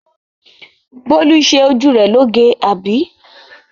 Bólú ṣe ojú rẹ loge, àbí?